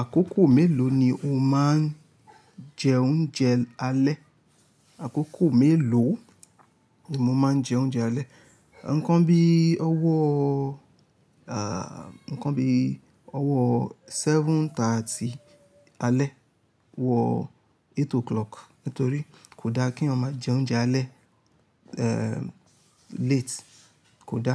Àkókò mélòó ni o máa ń jẹ oúnjẹ alẹ́? Àkókò mélòó ni mo máa ń jẹ oúnjẹ alẹ́? Ǹkan bí ọwọ́, ẹ̀, ǹkan bí ọwọ́ 7:30 alẹ́ wọ 8 o'clock. Nítorí kò da kí eyan ma jẹ oúnjẹ alẹ́, ẹm, late. Kò da.